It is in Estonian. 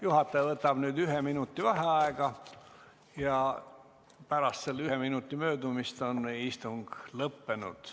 Juhataja võtab ühe minuti vaheaega ja pärast ühe minuti möödumist on istung lõppenud.